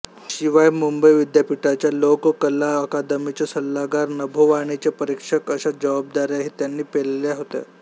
शिवाय मुंबई विद्यापीठाच्या लोककला अकादमीचे सल्लागार नभोवाणीचे परीक्षक अशा जबाबदाऱ्याही त्यांनी पेलल्या होत्या